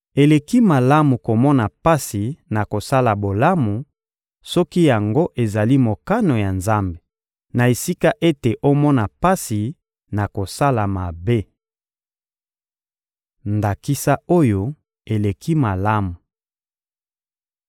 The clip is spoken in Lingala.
Eleki malamu komona pasi na kosala bolamu, soki yango ezali mokano ya Nzambe, na esika ete omona pasi na kosala mabe. Ndakisa oyo eleki malamu